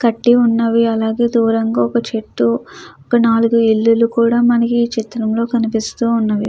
కట్టి ఉన్నవి అలాగే దూరంగా ఒక చెట్టు ఒక నాలుగు ఇల్లులు కూడా మనకి చిత్రంలో కనిపిస్తూ ఉన్నవి.